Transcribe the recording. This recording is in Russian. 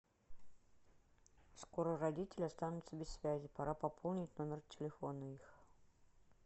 скоро родители останутся без связи пора пополнить номер телефона их